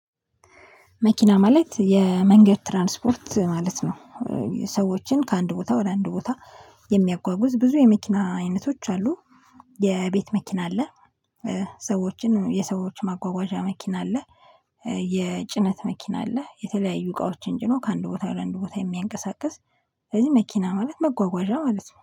መኪና ማለት የመንገድ ትራንስፖርት ማለት ነው። ሰዎችን ከአንድ ቦታ ወደ አንድ ቦታ የሚያጓጉዝ ብዙ የመኪና አይነቶች አሉ። የቤት መኪና አለ፣ ሰዎችን የሰዎች ማጓጓዣ መኪና አለ፣ የጭነት መኪና አለ፤ የተለያዩ እቃዎችን ጭኖ ከአንድ ቦታ ወደ አንድ ቦታ የሚያንቀሳቅስ ስለዚህ መኪና ማለት መጓጓዣ ማለት ነው።